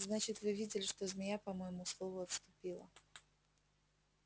значит вы видели что змея по моему слову отступила